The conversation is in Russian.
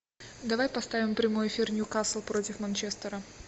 давай поставим прямой эфир ньюкасл против манчестера